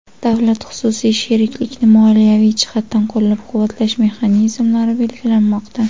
Davlat-xususiy sheriklikni moliyaviy jihatdan qo‘llab-quvvatlash mexanizmlari belgilanmoqda.